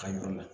Ka yɔrɔ la